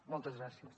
moltes gràcies